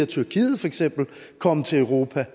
tyrkiet feks komme til europa